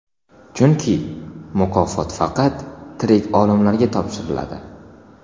Chunki mukofot faqat tirik olimlarga topshiriladi.